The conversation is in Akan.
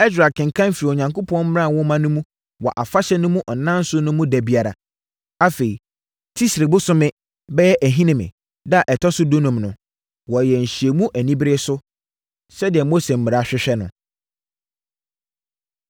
Ɛsra kenkan firii Onyankopɔn mmara nwoma no mu wɔ afahyɛ no mu nnanson no mu da biara. Afei, Tisri bosome (bɛyɛ Ahinime) da a ɛtɔ so dunum no, wɔyɛɛ nhyiamu anibereɛ so, sɛdeɛ Mose mmara hwehwɛ no.